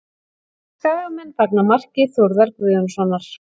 Skagamenn fagna marki Þórðar Guðjónssonar